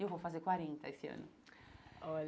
Eu vou fazer quarenta esse ano.